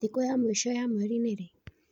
Thĩkũ ya mwĩco ya mwerĩ nĩ rĩĩ